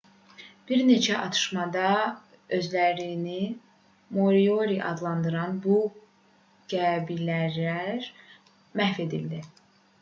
bir neçə atışmada özlərini moriori adlandıran bu qəbilələr məhv edildi